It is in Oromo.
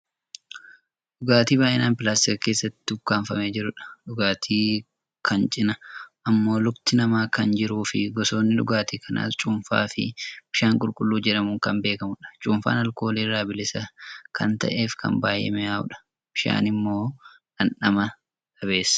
dhugaatii baayyinaan pilaastika keessatti ukkaamfamee jirudha. dhugaatii kan cinaa ammoo lukti namaa kan jiruufi gosootni dhugaatii kanaas cuunfaa fi bishaan qulqulluu jedhamuun kan beekkamudha. Cuunfaan aalkoolii irraa bilisa kan ta'eefi kan baayyee mi'aawudha. Bishaan immoo dhamdhama dhabeessa.